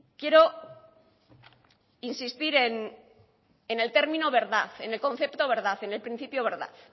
quiero insistir en el término verdad en el concepto verdad en el principio verdad